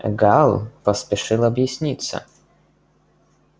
гаал поспешил объясниться